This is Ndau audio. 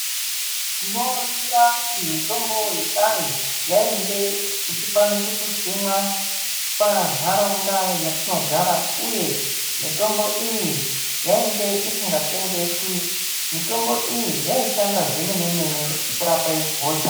Tinoringira kuti mitombo yekare yainge ichikwanise kusimwa pantaraunda petinogara yatinogara uye mutombo iyi yainge isingatengeswi mitombo iyi yaishanda zvemenemene kurape hosha.